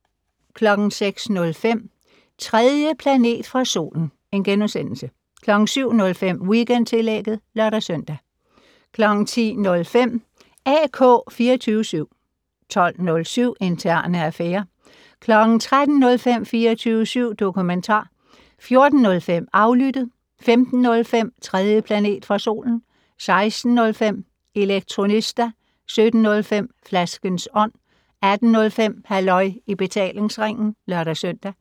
06:05: 3. planet fra solen * 07:05: Weekendtillægget (lør-søn) 10:05: AK 24syv 12:07: Interne affærer 13:05: 24syv dokumentar 14:05: Aflyttet 15:05: 3. planet fra solen 16:05: Elektronista 17:05: Flaskens Ånd 18:05: Halløj i betalingsringen (lør-søn)